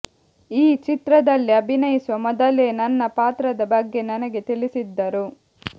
ಈ ಚಿತ್ರದಲ್ಲಿ ಅಭಿನಯಿಸುವ ಮೊದಲೇ ನನ್ನ ಪಾತ್ರದ ಬಗ್ಗೆ ನನಗೆ ತಿಳಿಸಿದ್ದರು